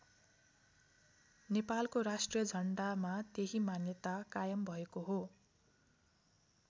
नेपालको राष्ट्रिय झण्डामा त्यहि मान्यता कायम भएको हो।